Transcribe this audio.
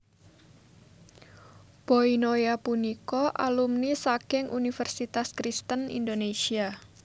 Boy Noya punika alumni saking Universitas Kristen Indonesia